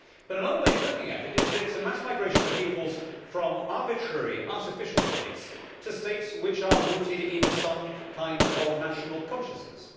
But another way of looking at it is that it is a mass migration of peoples from arbitrary, artificial states to states which are rooted in some kind of national consciousness.